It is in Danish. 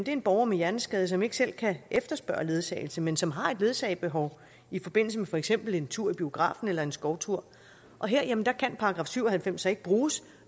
en borger med hjerneskade som ikke selv kan efterspørge ledsagelse men som har et ledsagebehov i forbindelse med for eksempel en tur i biografen eller en skovtur og her kan § syv og halvfems så ikke bruges